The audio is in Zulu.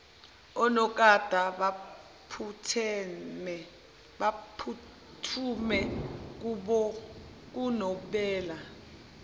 onogada baphuthume kunobela